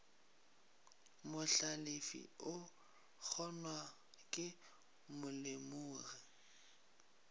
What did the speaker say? mohlalefi o kgonwa ke molemogi